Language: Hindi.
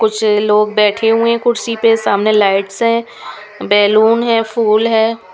कुछ लोग बैठे हुए हैं कुर्सी पे सामने लाइट्स है बैलून है फूल है।